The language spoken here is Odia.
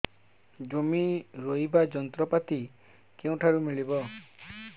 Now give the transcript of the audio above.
ଜମି ରୋଇବା ଯନ୍ତ୍ରପାତି କେଉଁଠାରୁ ମିଳିବ